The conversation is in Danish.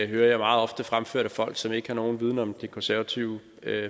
hører jeg meget ofte fremført af folk som ikke har nogen viden om det konservative